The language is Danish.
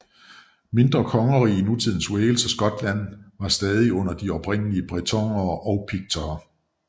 Mindre kongeriger i nutidens Wales og Skotland var stadig under de oprindelige bretonere og piktere